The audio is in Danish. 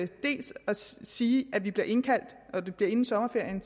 sige at vi bliver indkaldt og at det bliver inden sommerferien